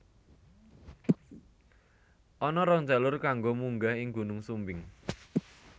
Ana rong jalur kanggo munggah ing Gunung Sumbing